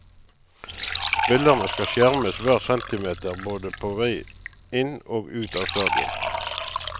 Spillerne skal skjermes hver centimeter både på vei inn og ut av stadion.